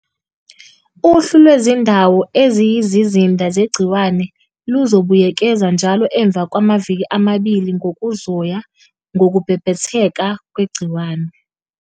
Uhlu lwezindawo eziyizizinda zegciwane luzobuyekezwa njalo emva kwamaviki amabili ngokuzoya ngokubhebhetheka kwegciwane.